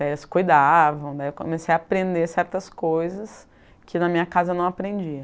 Daí eles cuidavam, daí eu comecei a aprender certas coisas que na minha casa eu não aprendia.